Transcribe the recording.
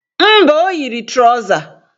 Mba, o yiri trọza